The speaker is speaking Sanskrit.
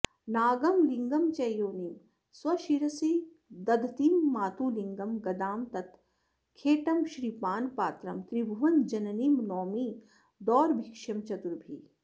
नागं लिङ्गं च योनिं स्वशिरसि दधतीं मातुलिङ्गं गदां तत् खेटं श्रीपानपात्रं त्रिभुवनजननीं नौमि दोर्भिश्चतुर्भिः